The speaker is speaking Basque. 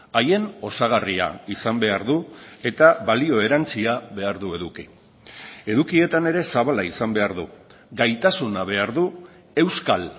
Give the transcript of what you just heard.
haien osagarria izan behar du eta balio erantzia behar du eduki edukietan ere zabala izan behar du gaitasuna behar du euskal